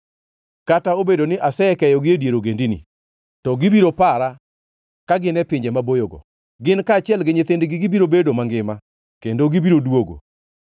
Kata obedo ni asekeyogi e dier ogendini, to gibiro para ka gin e pinje maboyogo. Gin kaachiel gi nyithindgi gibiro bedo mangima, kendo gibiro duogo.